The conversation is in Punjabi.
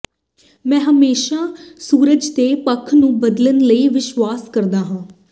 ਮੈਂ ਹਮੇਸ਼ਾਂ ਸੂਰਜ ਦੇ ਪੱਖ ਨੂੰ ਬਦਲਣ ਵਿਚ ਵਿਸ਼ਵਾਸ ਕਰਦਾ ਹਾਂ